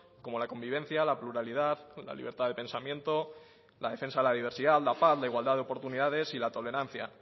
como la convivencia la pluralidad la libertad de pensamiento la defensa a la diversidad la paz la igualdad de oportunidades y la tolerancia